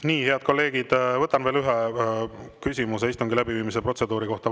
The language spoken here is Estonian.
Nii, head kolleegid, võtan veel ühe küsimuse istungi läbiviimise protseduuri kohta.